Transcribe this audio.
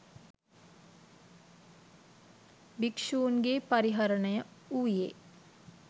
භික්ෂුන්ගේ් පරිහරණය වූයේ